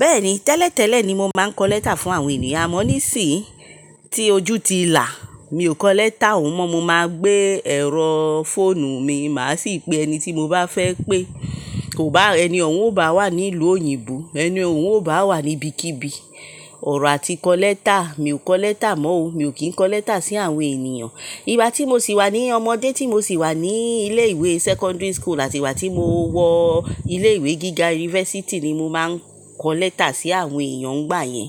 Bẹ́ẹ̀ni, tẹ́lẹ̀ tẹ́lẹ̀ ni mo máa ń kọ lẹ́tà fún àwọn ènìyàn, àmọ́ nísìí tí ojú ti là, mi ò kọ lẹ́tà òun mọ́. Mo máa gbé ẹ̀rọ fóònù mi, màá sì pe ẹni tí mo bá fẹ́ pé, kò bá ẹni òun ó bá wà ní ìlú òyìnbó, ẹni òun ó bá wà níbikíbi, ọ̀rọ̀ àti kọ lẹ́tà. Mi ò kọ lẹ́tà mọ́ o, mi ò kí ń kọ lẹ́tà sí àwọn ènìyàn. Ìgbà tí mo sì wà ní ọmọdé, tí mo sì wà ní ilé ìwé secondary school àti ìgbà tí mo wọ ilé ìwé gíga university ni mo máa ń kọ lẹ́tà sí àwọn èèyàn nígbà yẹn.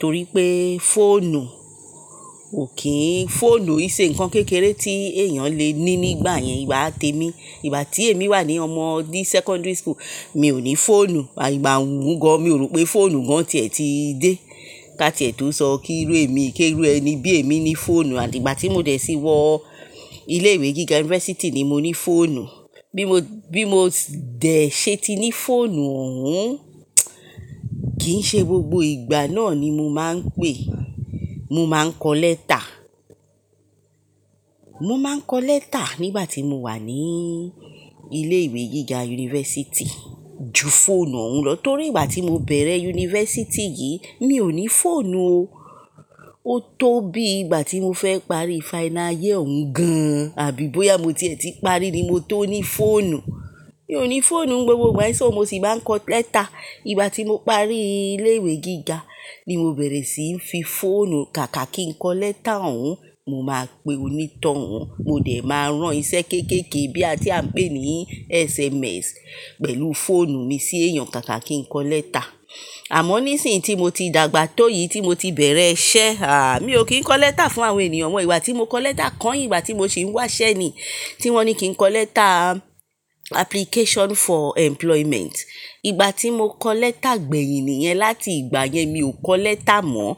Torí pé fóònù ò kí ń, fóònù ì ṣe nǹkan kékeré tí èèyàn lè ní nígbà yẹn ìgbà atẹ́mi. Ìgbà tí èmi wà ní ọmọdé secondary school mi ò ní fóònù, àìgbà òun gan-an, mi ò rò pé fóònù gan-an tiẹ̀ ti dé. Ká tí ẹ tó sọ kírú èmi, kí rú ẹni bí èmi ní fóònù àti ìgbà tí mo dẹ̀ sí wọ ilé ìwé gíga university ni mo ní fóònù. Bí mo, bí mo dẹ̀ ṣe ti ní fóònù òun, kí í ṣe gbogbo ìgbà náà ni mo máa ń pè, mo máa ń kọ lẹ́tà. Mo máa ń kọ lẹ́tà nígbà tí mo wà ní ilé ìwé gíga university ju fóònù òun lọ. Torí ìgbà tí mo bẹ̀rẹ̀ university yìí mi ò ní fóònù o. Ó tó bí ìgbà tí mo fẹ́ parí final year òun gan-an àbí bóyá mo tiẹ̀ ti parí ni mo tó ní fóònù. Mi ò ní fóònù gbogbo ìgbà, èso mo sì máa ń kọ lẹ́tà. Ìgbà tí mo parí ilé ìwé gíga ni mo bẹ̀rẹ̀ sí í fi fóònù káàkà kí ń kọ lẹ́tà òun, mo máa pe onítàn òun, mo dẹ̀ máa rán iṣẹ́ kéékèèké bí a tí à ń pè ní SMS pẹ̀lú fóònù mi sí èèyàn káàkà kí ń kọ lẹ́tà. Àmọ́ nísìí tí mo ti dàgbà tó yìí, tí mo ti bẹ̀rẹ̀ iṣẹ́, à mi ò kí ń kọ lẹ́tà fún àwọn ènìyàn mọ. Ìgbà tí mo kọ lẹ́tà kàn yìí, ìgbà tí mo sì ń wà iṣẹ́ ni, tí wón ní kí n kọ lẹ́tà application for employment. Ìgbà tí mo kọ lẹ́tà gbẹ̀yìn nìyẹn, láti ìgbà yẹn mi ò kọ lẹ́tà mọ́.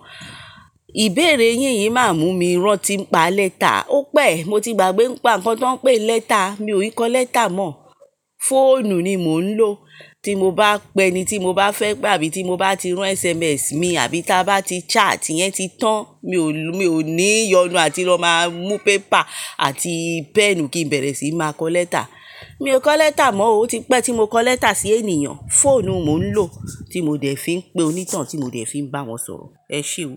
Ìbéèrè yín yìí máa mú mi rántí pa lẹ́tà. Ó pẹ̀, mo ti gbàgbé ń pa nǹkan tó ń pé lẹ́tà, mi ò í kọ lẹ́tà mọ́. Fóònù ni mò ń lò tí mo bá pe ẹni tí mo bá fẹ́ pé àbí tí mo bá ti rán SMS mi àbí tí a bá ti chat yẹn ti tán, mi ò ní yọnu àti lọ máa mú paper àti pen kí n bẹ̀rẹ̀ sí máa kọ lẹ́tà. Mi ò kọ lẹ́tà mọ́ o, ó ti pẹ́ tí mo kọ lẹ́tà sí ènìyàn. Fóònù mò ń lò tí mo dẹ̀ fi ń pe onítàn tí mo dẹ̀ fi ń bá wọn sọ̀rọ̀. Ẹ ṣeun.